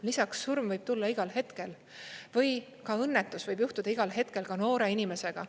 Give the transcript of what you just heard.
Lisaks, surm võib tulla igal hetkel või ka õnnetus võib juhtuda igal hetkel, ka noore inimesega.